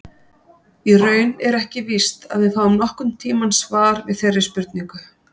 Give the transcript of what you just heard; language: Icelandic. Í raun er ekki víst að við fáum nokkurn tíman svar við þeirri spurningu.